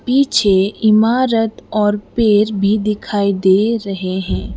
पीछे इमारत और पेर भी दिखाई दे रहे हैं।